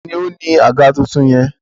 Taàní ó ní àga tuntun yẹn?